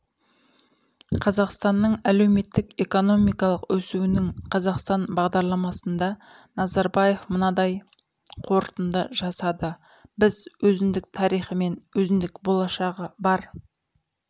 қазақстанның әлеуметтік экономикалық өсуінің қазақстан бағдарламасында назарбаев мынадай қорытынды жасады біз өзіндік тарихы мен өзіндік болашағы бар